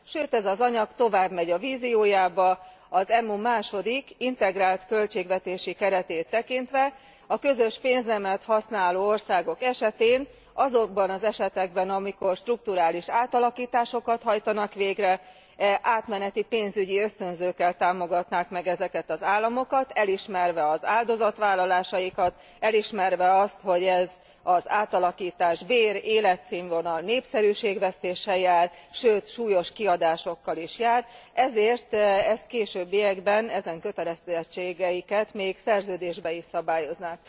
Sőt ez az anyag továbbmegy a víziójába, az EMU második integrált költségvetési keretét tekintve, a közös pénznemet használó országok esetén azokban az esetekben, amikor strukturális átalakításokat hajtanak végre átmeneti pénzügyi ösztönzőkkel támogatnák meg ezeket az államokat, elismerve az áldozatvállalásaikat, elismerve azt, hogy ez az átalakítás bér, életszínvonal, népszerűség vesztéssel jár, sőt súlyos kiadásokkal is jár, ezért ezt későbbiekben ezen kötelezettségeiket még szerződésben is szabályoznák.